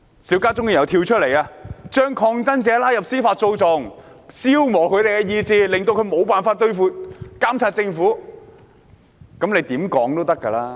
邵家臻議員又會說這是把抗爭者拉入司法訴訟，消磨他們的意志，令他們無法監察政府。